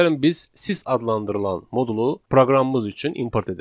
Gəlin biz sys adlandırılan modulu proqramımız üçün import edək.